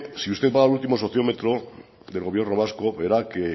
si usted va al último sociómetro del gobierno vasco verá que